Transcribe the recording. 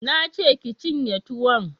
Na ce ki cinye tuwon!